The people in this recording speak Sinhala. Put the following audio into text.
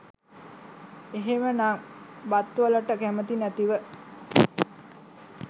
එහෙමනම් බත්වලට කැමති නැතිව